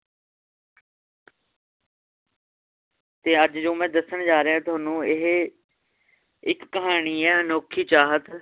ਤੇ ਅੱਜ ਜੋ ਮੈ ਦੱਸਣ ਜਾਰ੍ਹਿਆਂ ਤੁਹਾਨੂੰ ਇਹ ਇੱਕ ਕਹਾਣੀ ਏ ਅਨੋਖੀ ਚਾਹਤ